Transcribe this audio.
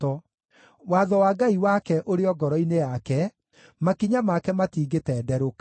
Watho wa Ngai wake ũrĩ o ngoro-inĩ yake; makinya make matingĩtenderũka.